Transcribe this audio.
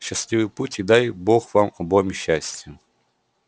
счастливый путь и дай бог вам обоим счастия